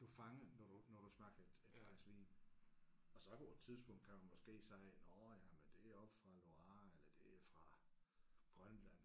Du fanger når du når du smager et et glas vin. Og så på et tidspunkt kan du måske sige nåh ja men det er oppe fra Loire eller det er fra Grønland